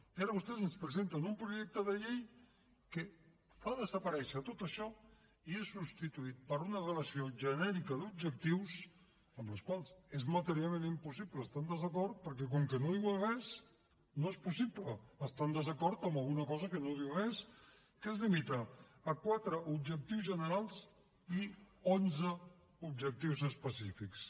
i ara vostès ens presenten un projecte de llei que fa desaparèixer tot això i és substituït per una relació genèrica d’objectius amb els quals és materialment impossible estar en desacord perquè com que no diuen res no és possible estar en desacord amb alguna cosa que no diu res que es limita a quatre objectius generals i a onze objectius específics